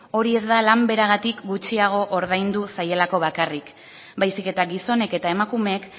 hori ez da lan beragatik gutxiago ordaindu zaielako bakarrik baizik eta gizonek eta emakumeek